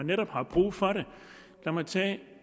netop er brug for det lad mig tage